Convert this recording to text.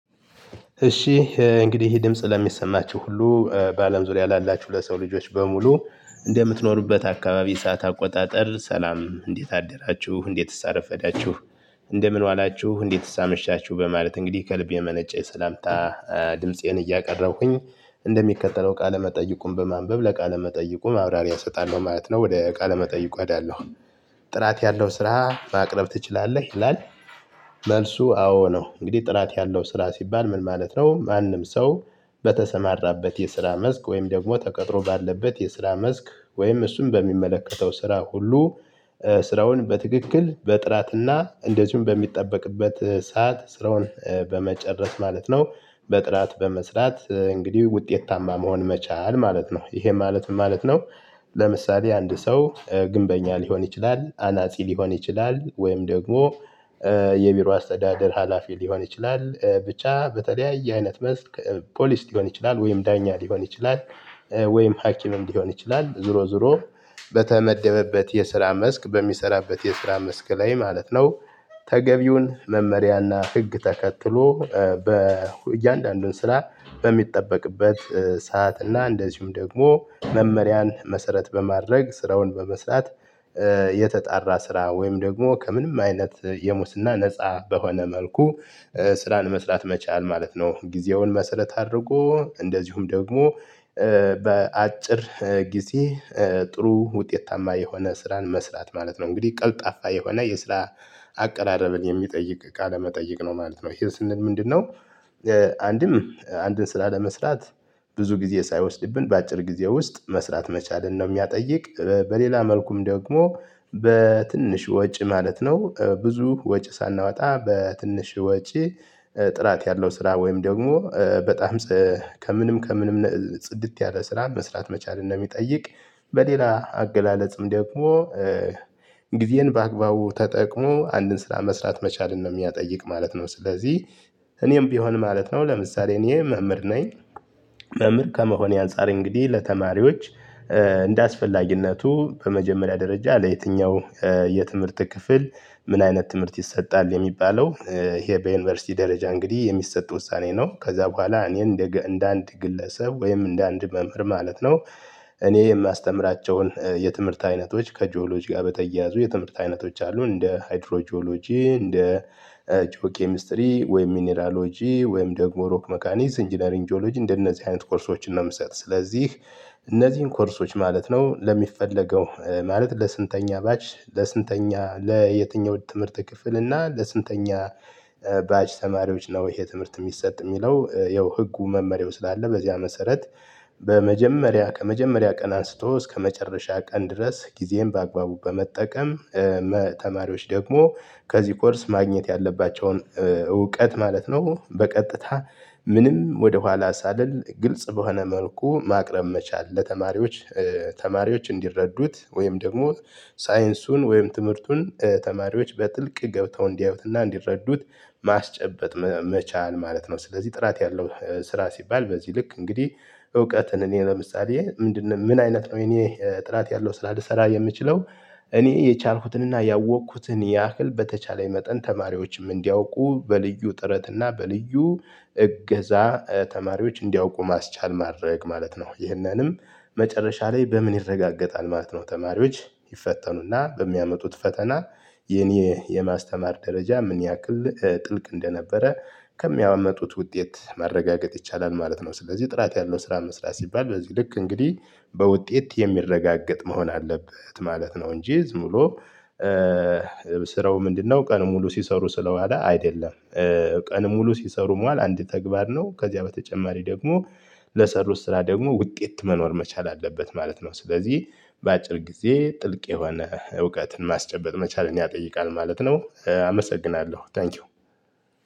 እሺ እንግዲህ ድምጽ ለሚሰማችሁ ሁሉ በአለም ዙሪያ ላላችሁ ለሰው ልጆች በሙሉ እንደምትኖሩበት አካባቢ ሰዓት አቆጣጠር ሰላም እንዴት አደራችሁ? እንዴትስ አረፈዳችሁ? እንደምን ዋላችሁ? እንዴትስ ሳመሻችሁ? በማለት እንግዲህ ከልብ የመነጨ ሰላምታ ድምፄን እያቀረብኩኝ እንደሚከተለው ቃለመጠይቁን በማንበብ ለቃለመጠይቁ ማብራሪያ እሰጣለሁ ማለት ነው ወደ ቃለመጠይቁ አዳለሁ። ጥራት ያለው ስራ ማቅረብ ትችላለህ? ይላል መልሱ አዎ ነው። እንግዲህ ጥራት ያለው ስራ ሲባል ምን ማለት ነው? ማንም ሰው በተሰማራበት የስራ መስክ ወይም ደግሞ ተቀጥሮ ባለበት የስራ መስክ ወይም እሱን በሚመለከተው ስራ ሁሉ ስራውን በትክክል በጥራትና እንደዚሁም በሚጠበቅበት ሰዓት ስራውን በመጨረስ ማለት ነው በጥራት በመስራት እንግዲህ ውጤታማ መሆን መቻል ማለት ነው። ይሄ ማለት ማለት ነው? ለምሳሌ አንድ ሰው ግንበኛ ሊሆን ይችላል አናጺ ሊሆን ይችላል ወይም ደግሞ የቢሮ አስተዳደር ሀላፊ ሊሆን ይችላል ብቻ በተለያየ አይነት መስክ ፖሊስ ሊሆን ይችላል ወይም ዳኛ ሊሆን ይችላል ወይም ሀኪምም ሊሆን ይችላል ዞሮ ዞሮ በተመደበበት የስራ መስክ በሚሰራበት የስራ መስክ ላይ ማለት ነው ተገቢውን መመሪያና ህግ ተከትሎ በእያንዳንዱን ስራ በሚጠበቅበት ሰዓትና እንደዚሁም ደግሞ መመሪያን መሰረት በማድረግ ስራውን በመስራት የተጣራ ስራ ወይም ደግሞ ከምንም አይነት የሙስና ነፃ በሆነ መልኩ ስራን መስራት መቻል ማለት ነው። ጊዜውን መሰለት አድርጎ እንደዚሁም ደግሞ በአጭር ጊዜ ጥሩ ውጤታማ የሆነ ስራን መስራት ማለት ነው። እንግዲህ ቀልጣፋ የሆነ የስራ አቀራረብን የሚጠይቅ ቃለመጠየቅ መጠይቅ ነው ማለት ነው። ሂልስንን ምንድነው አንድም አንድን ስላለመስራት ብዙ ጊዜ ሳይወስድብን በአጭር ጊዜ ውስጥ መስራት መቻልን ነው የሚጠይቅ በሌላ መልኩም ደግሞ በትንሽ ወጪ ማለት ነው ብዙ ወጪ ሳናወጣ በትንሽ ወጪ ጥራት ያለው ስራ ወይም ደግሞ በጣም ከምንም ከምንም ጽድት ያለ ስራ መስራት መቻል እንደሚጠይቅ በሌላ አገላለጽም ደግሞ ጊዜን በአግባቡ ተጠቅሞ አንድን ስራ መስራት መቻልን ነው የሚያጠይቅ ማለት ነው። ስለዚህ እኔም ቢሆን ማለት ነው ለምሳሌ እኔ መምህር ነኝ መምህር ከመሆኔ አንፃር እንግዲህ ለተማሪዎች እንደአስፈላጊነቱ በመጀመሪያ ደረጃ ለየትኛው የትምህርት ክፍል ምን አይነት ትምህርት ይሰጣል የሚባለው ይሄ በዩኒቨርሲቲ ደረጃ እንግዲህ የሚሰጥ ውሳኔ ነው። ከዛ በኋላ እኔ እንደ እንደ አንድ ግለሰብ ወይም እንደ አንድ መምህር ማለት ነው እኔ የማስተምራቸውን የትምህርት አይነቶች ከጂኦሎጂ ጋር በተያያዙ የትምህርት አይነቶች አሉ እንደ ሃይድሮ ጂኦሎጂ እንደ ጂኦ ኬሚስትሪ ወይም ሚኒራሎጂ ወይም ደግሞ ሮክ ሜካኒዝ ኢንጂነሪንጂዮሎጂ እንደነዚህ አይነት ኮርሶችን ነው የምሰጥ። ስለዚህ እነዚህን ኮርሶች ማለት ነው ለሚፈለገው ማለት ለስንተኛ ባች ለስንተኛ ለየትኛው ትምህርት ክፍል እና ለስንተኛ ባች ተማሪዎች ነው ይሄ ትምህርት የሚሰጥ የሚለው ያው ህጉ መመሪያው ስላለ በዚህ መሰረት በመጀመሪያ ከመጀመሪያ ቀን አንስቶ እስከመጨረሻ ቀን ድረስ ጊዜህን በአግባቡ በመጠቀም ተማሪዎች ደግሞ ከዚህ ኮርስ ማግኘት ያለባቸውን እውቀት ማለት ነው በቀጥታ ምንም ወደኋላ ሳልል ግልጽ በሆነ መልኩ ማቅረብ መቻል ለተማሪዎች ተማሪዎች እንዲረዱት ወይም ደግሞ ሳይንሱን ወይም ትምህርቱን ተማሪዎች በጥልቅ ገብተው እንዲያዩትና እንዲረዱት ማስጨበጥ መቻል ማለት ነው ስለዚህ ጥራት ያለው ስራ ሲባል በዚህ ልክ እንግዲህ እውቀትን እኔ ለምሳሌ ምንድነው ምን አይነት ነው? እኔ ጥራት ያለው ስላልሰራ የምችለው እኔ የቻልኩትንና ያወቅኩትን ያህል በተቻለኝ መጠን ተማሪዎችም እንዲያውቁ በልዩ ጥረት እና በልዩ እገዛ ተማሪዎች እንዲያውቁ ማስቻል ማድረግ ማለት ነው። ይህንንም መጨረሻ ላይ በምን ይረጋገጣል ማለት ነው ተማሪዎች ይፈተኑና በሚያመጡት ፈተና የኔ የማስተማር ደረጃ ምን ያክል ጥልቅ እንደነበረ ከሚያመጡት ውጤት ማረጋገጥ ይቻላል ማለት ነው። ስለዚህ ጥራት ያለው ስራ መስራት ሲባል በዚህ ልክ እንግዲህ በውጤት የሚረጋገጥ መሆን አለበት ማለት ነው እንጂ ዝም ብሎ ስራው ምንድነው ቀን ሙሉ ሲሰሩ ስለዋለ አይደለም። ቀን ሙሉ ሲሰሩ መዋል አንድ ተግባር ነው ከዚያ በተጨማሪ ደግሞ ለሰሩት ስራ ደግሞ ውጤት መኖር መቻል አለበት ማለት ነው። ስለዚህ በአጭር ጊዜ ጥልቅ የሆነ እውቀትን ማስጨበጥ መቻልን ያጠይቃል ማለት ነው አመሰግናለሁ ታንኪው።